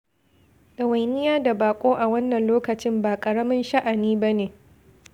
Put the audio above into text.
Ɗawainiya da baƙo a wannan lokacin ba ƙaramin sha'ani ba ne.